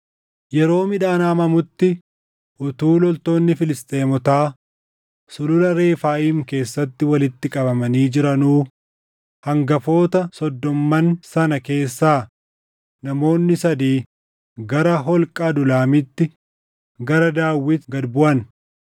Yeroo midhaan haammamutti utuu loltoonni Filisxeemotaa Sulula Refaayim keessatti walitti qabamanii jiranuu, hangafoota soddomman sana keessaa namoonni sadii gara holqa Adulaamitti gara Daawit gad buʼan.